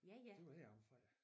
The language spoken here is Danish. De var heromme fra